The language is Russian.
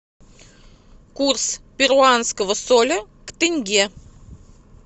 курс перуанского соля к тенге